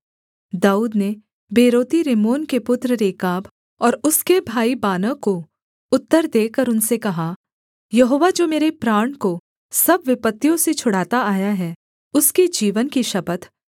दाऊद ने बेरोती रिम्मोन के पुत्र रेकाब और उसके भाई बानाह को उत्तर देकर उनसे कहा यहोवा जो मेरे प्राण को सब विपत्तियों से छुड़ाता आया है उसके जीवन की शपथ